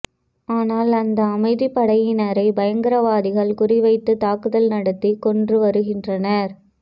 ஆனால் அந்த அமைதிப் படையினரை பயங்கரவாதிகள் குறிவைத்து தாக்குதல் நடத்தி கொன்று வருகின்றனர்